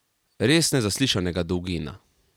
Res nezaslišanega dolgina.